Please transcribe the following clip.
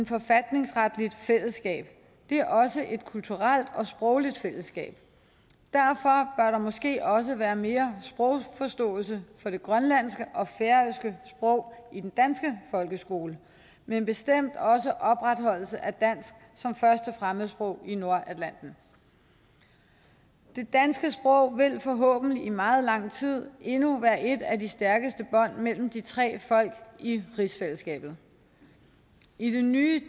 forfatningsretligt fællesskab det er også et kulturelt og sprogligt fællesskab og der måske også være mere sprogforståelse for de grønlandske og færøske sprog i den danske folkeskole men bestemt også opretholdelse af dansk som første fremmedsprog i nordatlanten det danske sprog vil forhåbentlig i meget lang tid endnu være et af de stærkeste bånd mellem de tre folk i rigsfællesskabet i det nye